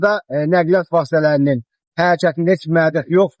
Hal-hazırda nəqliyyat vasitələrinin hərəkətində heç bir məhdudiyyət yoxdur.